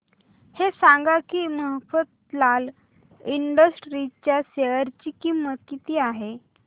हे सांगा की मफतलाल इंडस्ट्रीज च्या शेअर ची किंमत किती आहे